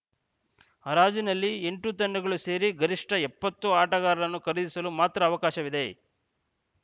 ಹರಾಜಿನಲ್ಲಿ ಎಂಟು ತಂಡಗಳು ಸೇರಿ ಗರಿಷ್ಠ ಎಪ್ಪತ್ತು ಆಟಗಾರರನ್ನು ಖರೀದಿಸಲು ಮಾತ್ರ ಅವಕಾಶವಿದೆ